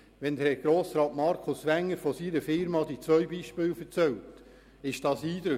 Wenn Grossrat Wenger von den zwei Beispielen aus seiner Firma erzählt, ist das eindrücklich.